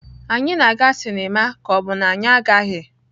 Anyị na-aga sinima ka ọ bụ na anyị agaghị?